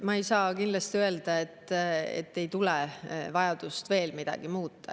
Ma ei saa kindlasti öelda, et ei tule vajadust veel midagi muuta.